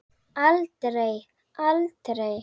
Aldrei, aldrei!